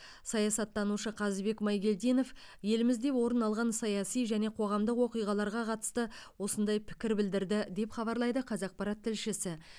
саясаттанушы қазбек майгелдинов елімізде орын алған саяси және қоғамдық оқиғаларға қатысты осындай пікір білдірді деп хабарлайды қазақпарат тілшісі